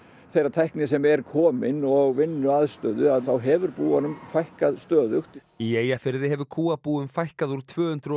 þeirrar tækni sem er komin og vinnuaðstöðu þá hefur búunum fækkað stöðugt í Eyjafirði hefur kúabúum fækkað úr tvö hundruð og